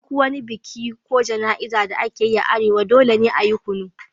A duk wani biki ko jana'izar da ake yi a arewa, dole ne a yi kunu.